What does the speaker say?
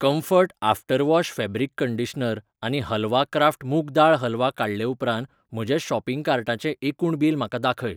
Comfort after wash fabric conditioner आनी halwa Kraft मूग दाळ हलवा काडले उपरांत म्हज्या शॉपिंग कार्टाचें एकूण बील म्हाका दाखय.